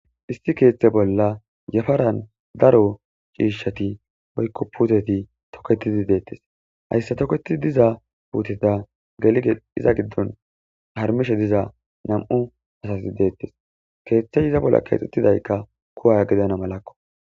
Issi kethe bolla yafarani daro cishati woykko puteti toketidi detesi hayisa toketida puteta gidoni gelidi harimishe diza namu nayiti detes kethe iza bolla kexetidayi kuwa gidanasako.